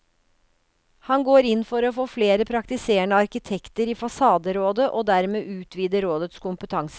Han går inn for å få flere praktiserende arkitekter i fasaderådet og dermed utvide rådets kompetanse.